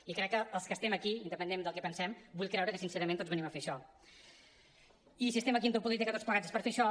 i crec que els que estem aquí independentment del que pensem vull creure que sincerament tots venim a fer això i si estem aquí en política tots plegats és per fer això